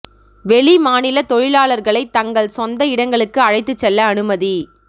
வெளி மாநில தொழிலாளர்களை தங்கள் சொந்த இடங்களுக்கு அழைத்து செல்ல அனுமதி